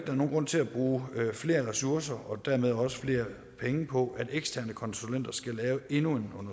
er nogen grund til at bruge flere ressourcer og dermed også flere penge på at eksterne konsulenter skal lave endnu